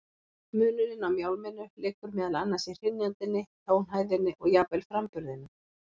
Munurinn á mjálminu liggur meðal annars í hrynjandinni, tónhæðinni og jafnvel framburðinum.